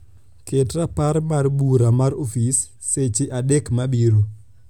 ket rapar mar bura mar ofis seche adek mabiro